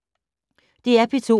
DR P2